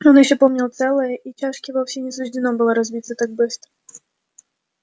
он ещё помнили целое и чашке вовсе не суждено было разбиться так быстро